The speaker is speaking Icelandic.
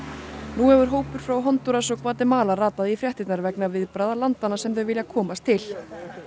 nú hefur hópur frá Hondúras og Gvatemala ratað í fréttirnar vegna viðbragða landanna sem þau vilja komast til